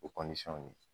O